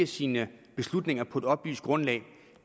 sine beslutninger på et oplyst grundlag